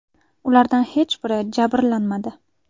Ulardan hech biri jabrlanmadi.